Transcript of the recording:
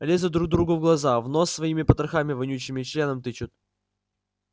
лезут друг другу в глаза в нос своими потрохами вонючими членом тычут